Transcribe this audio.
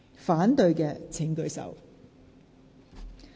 反對的請舉手。